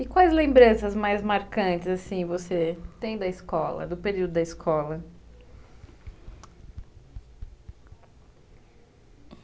E quais lembranças mais marcantes, assim, você tem da escola, do período da escola?